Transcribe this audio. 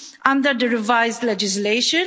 under the revised legislation.